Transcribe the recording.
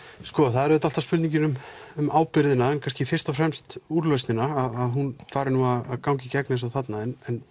það er auðvitað alltaf spurning um ábyrgðina en kannski fyrst og fremst úrlausnina að hún fari nú að ganga í gegn eins og þarna